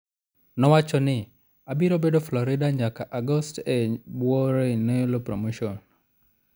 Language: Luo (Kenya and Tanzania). Nowachoni, "Abiro bedo Florida nyaka Agost e bwo Raynelo Promotions".